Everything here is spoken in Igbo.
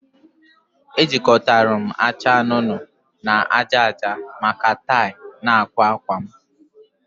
Ejikọtara m acha anụnụ anụnụ na aja aja maka tie na akwa akwa m